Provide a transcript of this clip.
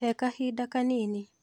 He kahida kanini.